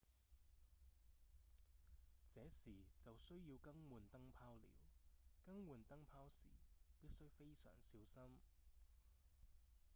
這時就需要更換燈泡了更換燈泡時必須非常小心